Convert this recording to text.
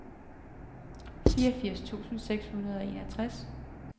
fireogfirs tusind seks hundrede og enogtres